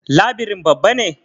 Labirin babba ne?